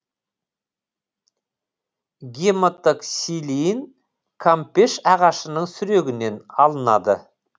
гематоксилин кампеш ағашының сүрегінен алынады